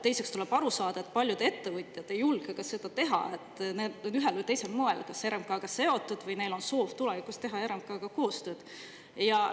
Tuleb ka aru saada, et paljud ettevõtjad ei julge seda teha, sest ühel või teisel moel on nad kas RMK‑ga seotud või on neil soov tulevikus RMK‑ga koostööd teha.